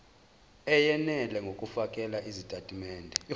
eyenele ngokufakela izitatimende